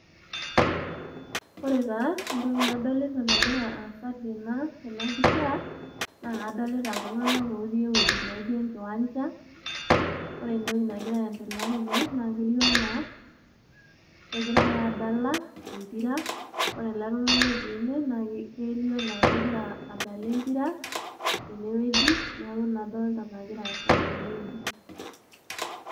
Ore taa entoki nadolita nagira aasa tena pisha , naa kadolita iltunganak otii ewueji naijo enkiwanja .Ore entoki nagira aendelea tene naa ketiu anaa kegirae adala empira, ore ele tungani otii ene naa ketiu anaa kegira adala empira tenewueji. Niaku ina adolta egira aasa tene wueji.